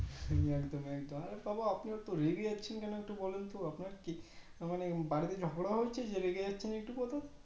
একদম একদম আরে বাবা আপনি এত রেগে যাচ্চেন বলেন তো আপনার কি মানে বাড়িতে ঝগড়া হয়েছে যে রেগে যাচ্চেন একটু কথাই